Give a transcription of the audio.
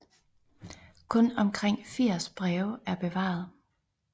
Kun omkring 80 breve er bevaret